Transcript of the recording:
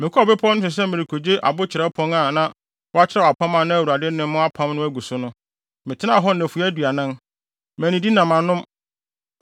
Mekɔɔ bepɔw no so sɛ merekogye abo kyerɛwpon a na wɔakyerɛw apam a na Awurade ne mo apam no agu so no, metenaa hɔ nnafua aduanan, mannidi na mannom.